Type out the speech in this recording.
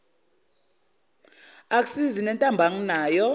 akusizi nentambo anginayo